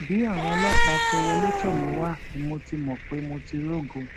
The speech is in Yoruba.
bí àwọn ọlọpàá ṣe wọlé tọ mí wá ni mo ti mọ pé mo ti rógo